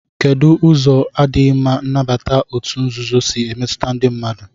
Kedụ ụzọ na-adịghị mma nnabata òtù nzuzo si emetụta ndị mmadụ?